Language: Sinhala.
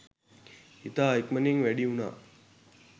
ඉතා ඉක්මනින් වැඩි වුනා